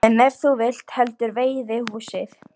En ef þú vilt heldur veiðihúsið?